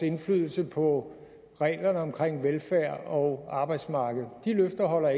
indflydelse på reglerne om velfærd og arbejdsmarked ikke holder